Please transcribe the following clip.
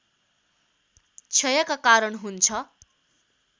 क्षयका कारण हुन्छ